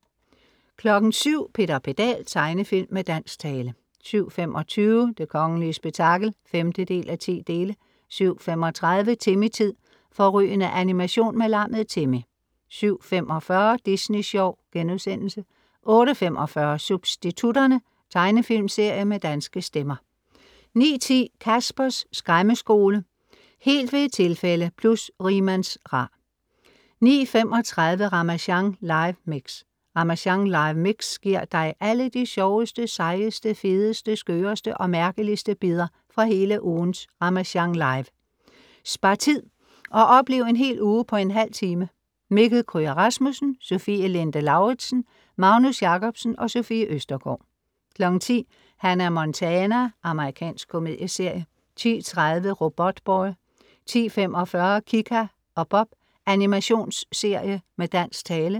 07:00 Peter Pedal. Tegnefilm med dansk tale 07:25 Det kongelige spektakel (5:10) 07:35 Timmy-tid. Fårrygende animation med lammet Timmy 07:45 Disney sjov* 08:45 Substitutterne. Tegnefilmsserie med danske stemmer 09:10 Caspers Skræmmeskole. Helt ved et tilfælde + Rigmands-Ra 09:35 Ramasjang live mix. Ramasjang live mix giver dig alle de sjoveste, sejeste, fedeste, skøreste og mærkeligste bidder fra hele ugens Ramasjang Live. Spar tid, og oplev en hel uge på en halv time. Mikkel Kryger Rasmussen, Sofie Linde Lauridsen, Magnus Jacobsen, Sofie Østergaard 10:00 Hannah Montana. Amerikansk komedieserie 10:30 Robotboy 10:45 Kika og Bob. Animationsserie med dansk tale